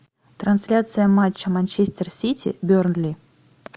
трансляция матча манчестер сити бернли